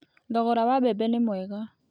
Thogora wa mbembe nĩ mwega.